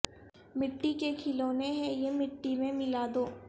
مٹی کے کھلونے ہیں یہ مٹی میں ملا دو